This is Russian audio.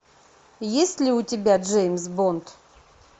есть ли у тебя джеймс бонд